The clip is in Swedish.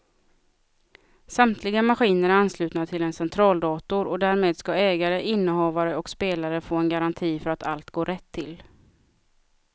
Samtliga maskiner är anslutna till en centraldator och därmed ska ägare, innehavare och spelare få en garanti för att allt går rätt till.